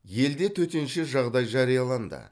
елде төтенше жағдай жарияланды